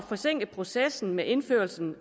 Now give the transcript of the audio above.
forsinke processen med indførelsen